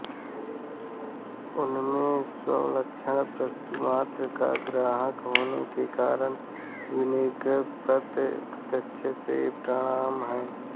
उनमें स्वलक्षण वस्तुमात्र का ग्राहक होने के कारण निर्विकल्पक प्रत्यक्ष ही प्रमाण है